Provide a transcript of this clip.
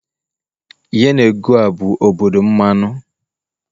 Yenegoa bụ obodo mmanụ.